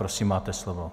Prosím, máte slovo.